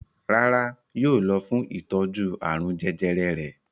Rárá, yóò lọ fún ìtọ́jú àrùn jẹjẹrẹ rẹ̀.